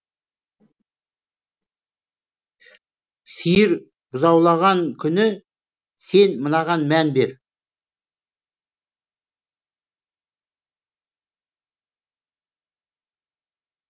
сиыр бұзаулаған күні сен мынаған мән бер